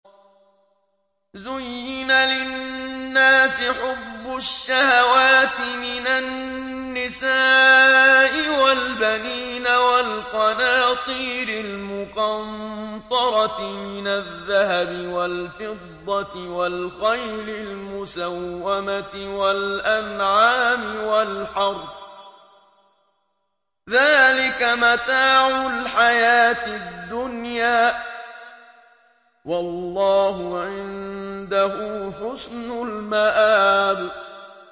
زُيِّنَ لِلنَّاسِ حُبُّ الشَّهَوَاتِ مِنَ النِّسَاءِ وَالْبَنِينَ وَالْقَنَاطِيرِ الْمُقَنطَرَةِ مِنَ الذَّهَبِ وَالْفِضَّةِ وَالْخَيْلِ الْمُسَوَّمَةِ وَالْأَنْعَامِ وَالْحَرْثِ ۗ ذَٰلِكَ مَتَاعُ الْحَيَاةِ الدُّنْيَا ۖ وَاللَّهُ عِندَهُ حُسْنُ الْمَآبِ